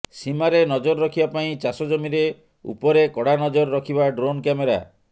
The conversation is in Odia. ସୀମାରେ ନଜର ରଖିବା ପରି ଚାଷ ଜମିରେ ଉପରେ କଡ଼ା ନଜର ରଖିବ ଡ୍ରୋନ କ୍ୟାମେରା